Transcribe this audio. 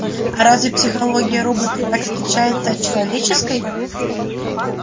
а разве психология роботов так отличается от человеческой